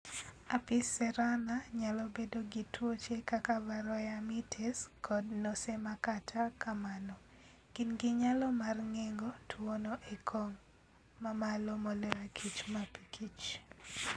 Apis cerana nyalo bedo gi tuoche kaka varroa mites kod NosemaKata kamano, gin gi nyalo mar geng'o tuwono e okang' mamalo moloyo kich mapikich.